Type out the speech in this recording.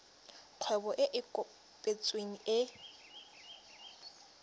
kgwebo e e kopetsweng e